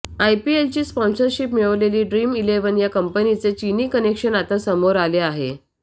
आयपीएलची sponsorship मिळवलेली Dream Eleven या कंपनीचे चीनी कनेक्शन आता समोर आले आहे